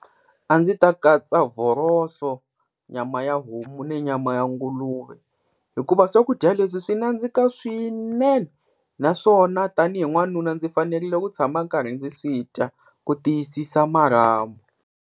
A ndzi ta katsa vhoroso, nyama ya homu ni nyama ya nguluve, hikuva swakudya leswi swi nandzika swinene naswona tanihi n'wanuna ndzi fanerile ku tshama karhi ndzi swi dya ku tiyisisa marhambu.